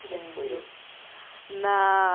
Como é que foi isso? Na